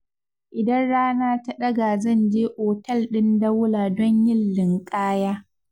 Idan rana ta ɗaga zan je otal ɗin Daula don yin linƙaya.